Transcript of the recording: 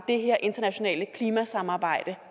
det her internationale klimasamarbejde